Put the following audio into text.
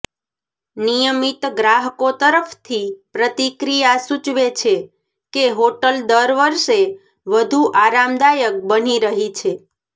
નિયમિત ગ્રાહકો તરફથી પ્રતિક્રિયા સૂચવે છે કે હોટલ દર વર્ષે વધુ આરામદાયક બની રહી છે